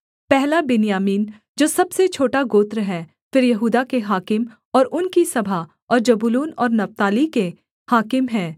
पहला बिन्यामीन जो सबसे छोटा गोत्र है फिर यहूदा के हाकिम और उनकी सभा और जबूलून और नप्ताली के हाकिम हैं